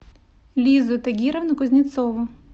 лизу тагировну кузнецову